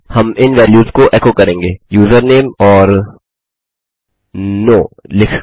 हम इन वैल्यूस को एको करेंगे यूजरनेम ओर नो लिखकर